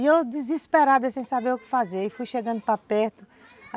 E eu desesperada, sem saber o que fazer, fui chegando para perto.